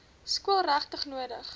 skool regtig nodig